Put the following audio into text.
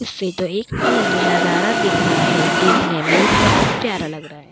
इससे तो एक अलग ही नजर दिख रहा है। देखने में ये बहोत ही प्यारा लग रहा है।